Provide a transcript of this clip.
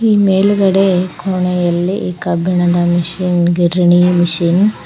ಈ ಮೇಲ್ಗಡೆ ಕೋಣೆಯಲ್ಲಿ ಕಬ್ಬಿಣದ ಮಿಷನ್ ಗಿರಣಿ ಮಷೀನ್ --